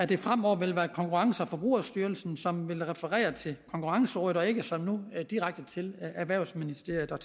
det fremover vil være konkurrence og forbrugerstyrelsen som vil referere til konkurrencerådet og ikke som nu direkte til erhvervsministeriet og